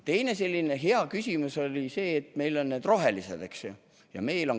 Teine selline hea näide on see, et meil on need rohelised, eks ju.